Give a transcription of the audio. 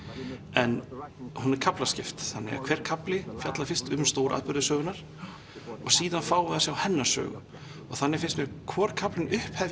en hún er kaflaskipt þannig að hver kafli fjallar fyrst um stóratburði sögunnar og síðan fáum við að sjá hennar sögu og þannig finnst mér hvor kaflinn upphefja